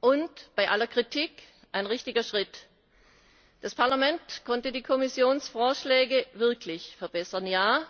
und bei aller Kritik ein richtiger Schritt! Das Parlament konnte die Kommissionsvorschläge wirklich verbessern.